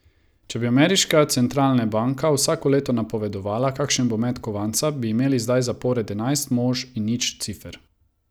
Če bi ameriška centralne banka vsako leto napovedovala, kakšen bo met kovanca, bi imeli zdaj zapored enajst mož in nič cifer.